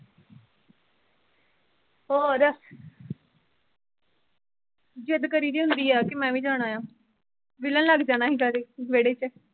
ਹੋਰ ਜਿੱਦ ਕਰੀਦੀ ਹੁੰਦੀ ਆ ਕਿ ਮੈਂ ਵੀ ਜਾਣਾ ਆ ਵਿੱਲਣ ਲੱਗ ਜਾਣਾ ਸੀ ਗਾੜੀ ਵੇਹੜੇ ਚ।